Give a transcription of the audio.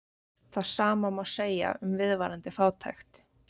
Það sama má segja um viðvarandi fátækt.